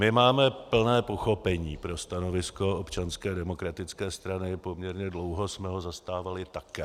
My máme plné pochopení pro stanovisko Občanské demokratické strany, poměrně dlouho jsme ho zastávali také.